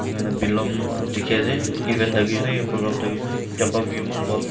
enika hoi na bilong dekhi ase event thakishe naki program thakishe naki jaka view eman bhal.